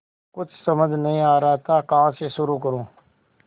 कुछ समझ नहीं आ रहा था कहाँ से शुरू करूँ